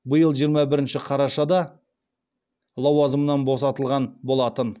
биыл жиырма бірінші қарашада лауазымынан босатылған болатын